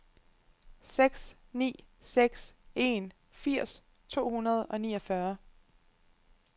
seks ni seks en firs to hundrede og niogfyrre